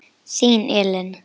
Þín, Ellen.